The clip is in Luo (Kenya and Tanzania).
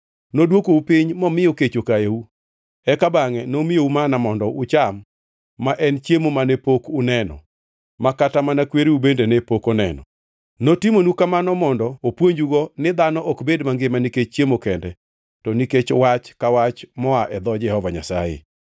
Nodwokou piny momiyo kech okayou, eka bangʼe nomiyou manna mondo ucham ma en chiemo mane pok uneno ma kata mana kwereu bende ne pok oneno. Notimonu kamano mondo opuonjugo ni dhano ok bed mangima nikech chiemo kende to nikech wach ka wach moa e dho Jehova Nyasaye.